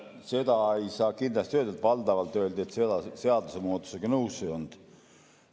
Seda ei saa kindlasti öelda, et valdavalt öeldi, et seadusemuudatusega nõus ei oldud.